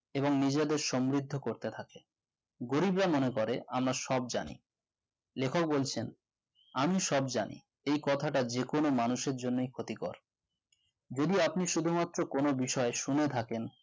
এবং নিজেদের সমৃদ্ধ করতে থাকে গরীবরা মনে করে আমরা সব জানি লেখক বলেছেন আমি সব জানি। এই কথাটি যে কোন মানুষের জন্য ক্ষতিকর যদি আপনি শুধুমাত্র কোন বিষয়ে শুনে থাকেন